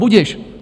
Budiž.